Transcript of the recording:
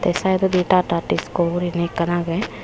ey saidodi tata disco gurinei ekkan age.